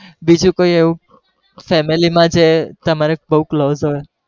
બીજું કોઈ એવું family માં જે તમારે બહુ close હોય